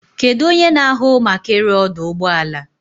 Kedu onye na-ahụ maka ịrụ ọdụ ụgbọ ala?